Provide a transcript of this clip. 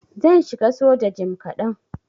Zan shiga soja jim kadan.